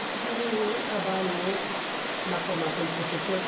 Conseguiu um trabalho ou outro na formação de professores.